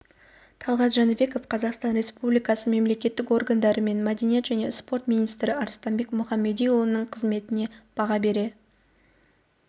талғат жәнібеков қазақстан республикасы мемлекеттік органдары мен мәдениет және спорт министрі арыстанбек мұхамедиұлының қызметіне баға бере